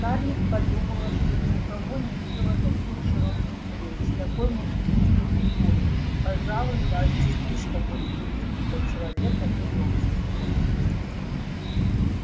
скарлетт подумала что ни у кого не видела таких широких плеч такой мускулистой фигуры пожалуй даже слишком мускулистой для человека из общества